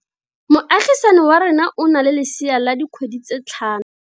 Moagisane wa rona o na le lesea la dikgwedi tse tlhano.